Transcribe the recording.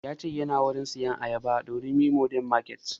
Ya ce yana wurin sayan ayaba a durumi modern market